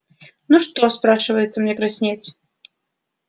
ну чего спрашивается мне краснеть